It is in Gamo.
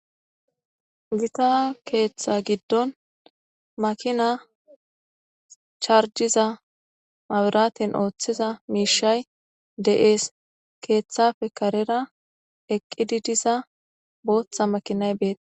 Gita keeththa giddon makina charjiza maburaten ooththiza miishay de'ees keeththafe karera eqqidi diza booththa makinay beet